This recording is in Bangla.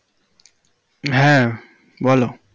হ্যাঁ বলো।